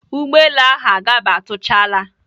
Ụgbọelu ahụ agabatuchala.